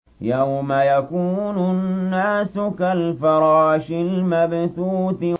يَوْمَ يَكُونُ النَّاسُ كَالْفَرَاشِ الْمَبْثُوثِ